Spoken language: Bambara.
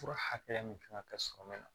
Fura hakɛya min kan ka kɛ sɔrɔ min na